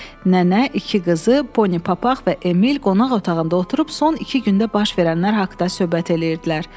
Nənə iki qızı, Ponipapaq və Emil qonaq otağında oturub son iki gündə baş verənlər haqda söhbət eləyirdilər.